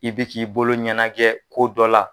I bɛ k'i bolo ɲɛnajɛ ko dɔ la,